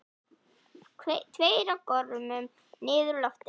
Tveir á gormum niður úr loftinu.